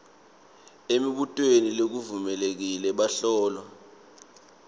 emibutweni levulekile bahlolwa